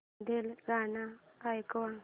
मधलं गाणं ऐकव